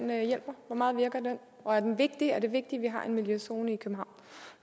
og er den vigtig er det vigtigt at vi har en miljøzone i københavn